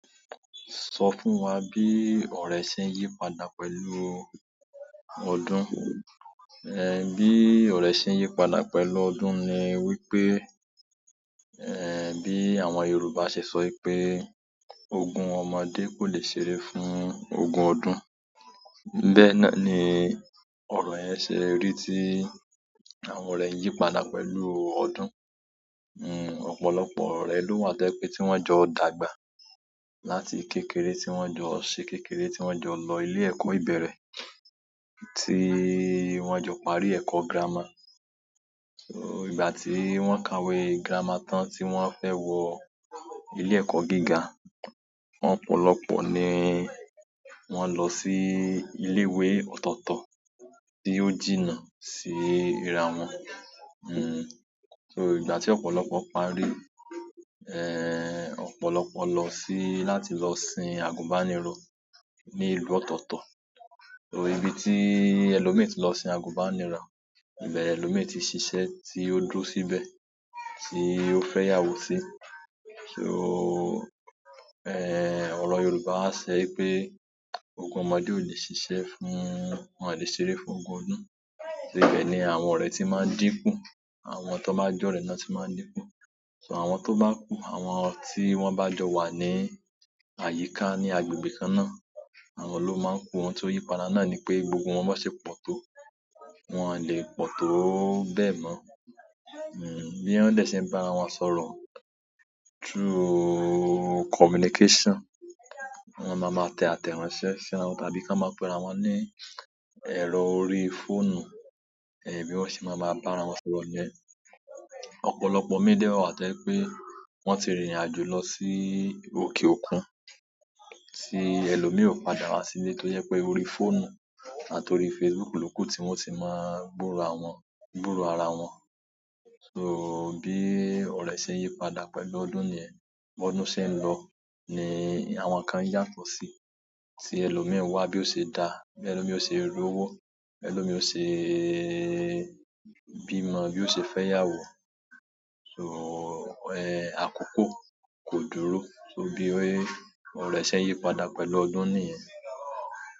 Sọ fún wa bí ọ̀rẹ́ ṣe ń yí padà pẹ̀lú ọdún. Bí ọ̀rẹ́ ṣe ń yípadà pẹ̀lú ọdún ni wípé, bí àwọn Yorùbá ṣe sọ wípé "ogún ọmọdé kò lè ṣéré fún ogún ọdún." Bẹ́ẹ̀ ni ọ̀rọ̀ yẹn ṣe rí tí àwọn ọ̀rẹ́ ń yí padà pẹ̀lú ọdún. Ọ̀pọ̀lọpọ̀ ọ̀rẹ́ ló wà t'ó jẹ́ pé tí wón jọ dàgbà láti kékeré, tí wón jọ ṣe kékeré, tí wón jọ lọ ilé ẹ̀kọ́ ìbẹ̀rẹ̀, tí wón jọ parí ẹ̀kọ́ girama ìgbà tí wọ́n kàwé girama tán, tí wón fẹ́ wọ ilé ẹ̀kọ́ gíga, ọ̀pọ̀lọpọ̀ ni wọ́n lọ sí ilé ìwé ọ̀tọ̀ọ̀tọ̀ tí ó jìnnà síra wọn. Hmm, so ìgbà tí ọ̀pọ̀lọpọ̀ parí, ẹ́ ọ̀pọ̀lọpọ̀ lọ sí láti lọ sin àgùnbánirọ̀ ní ìlú ọ̀tọ̀ọ̀tọ̀. Ibi tí ẹlòmíràn tí lọ sin àgùnbánirọ̀, ibẹ̀ ni ẹlòmíràn ti ṣiṣẹ́, tí ó dúró síbẹ̀, tí ó fẹ́'yàwó sí. Ọ̀rọ̀ Yorùbá sọ, wípé "ogún ọmọdé ò lè ṣiṣẹ́ fún—wọn ò lè ṣeré fún ogún ọdún." Ibẹ̀ ni àwọn ọ̀rẹ́ tí máa ń dínkù, àwọn tọ́n bá jẹ́ ọ̀rẹ́ náà ti máa ń dínkù. So àwọn tó bá kù, àwọn tí wọ́n bá jọ wà ní àyíká, ní agbègbè kan náà, àwọn ló máa ń kù. Nǹkan tó yípadà náà ni pé, gbogbo wọn b'ọ́n ṣe pọ̀ tó, wọn ò lè pọ̀ tó bẹ́ẹ̀ mọ́. Bí wọ́n dẹ̀ ṣe ń bá ara wọn sọ̀rọ̀ through communication, wọ́n máa máa tẹ àtẹ̀ránsẹ́ síra wọn tàbí k'ọ́n máa pe'ra wọn ní ẹ̀rọ orí fóònù, bí wọn ṣe máa máa bá'ra wọn sọ̀rọ̀ nì yẹn. Ọ̀pọ̀lọpọ̀ ìmíì dẹ̀ wà tó jẹ́ pé wọ́n ti rìnrìn àjò lọ sí òkè òkun, tí ẹlòmíràn ò padà wá sílé tójẹ́ pé orí fóònù àti orí Facebook ló kù tí wọ́n ó ti máa gbọ́ra wọn— gbúròó ara wọn. So, bí ọrẹ́ ṣe ń yí padá pẹ́lu ọdún nìyẹn. B'ọ́dún ṣe ń lọ, ni àwọn nǹkan ń yàtọ̀ si, tí ẹlòmíràn ń wá bí yóò ṣe da, bí ẹlòmíràn yóò ṣe lówó, bí ẹlòmíràn yóò ṣe bímo, bí yóò ṣe fẹ́'yàwó. So ẹ́ àkókò kò dúró, so bí ọ̀rẹ́ ṣe ń yípadà pẹ̀lú ọdún ni ẹ́.